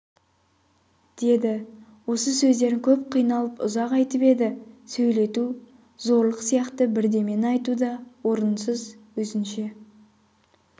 деді осы сөздерін көп қиналып ұзақ айтып еді сөйлету зорлық сияқты бірдемені айту да орынсыз өзінше